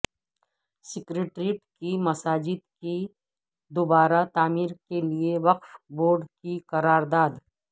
secretariat کی مساجد کی دوبارہ تعمیر کیلئے وقف بورڈ کی قرارداد